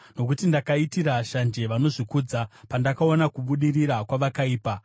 Nokuti ndakaitira shanje vanozvikudza, pandakaona kubudirira kwavakaipa.